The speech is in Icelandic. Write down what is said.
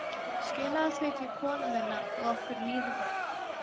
Skilaðu því til konu minnar að okkur líði vel.